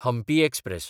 Hampi express